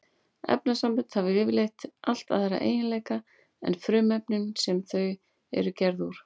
Efnasambönd hafa yfirleitt allt aðra eiginleika en frumefnin sem þau eru gerð úr.